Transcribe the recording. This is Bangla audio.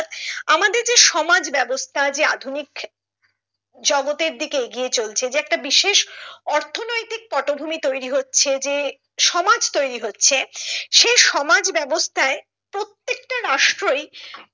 আমাদের যে সমাজ ব্যবস্থা যে আধুনিক জগতের দিক এগিয়ে চলছে যে একটা বিশেষ অর্থনৈতিক পটভূমি তৈরি হচ্ছে যে সমাজ তৈরি হচ্ছে সেই সমাজ ব্যাবস্থায় প্রত্যেকটা রাষ্ট্রই